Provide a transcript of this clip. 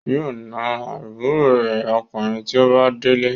Yóò na àbúrò rẹ̀ Ọkùnrin tí ó bá délé.